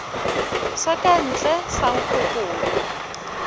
sa ka ntle sa nkgokolo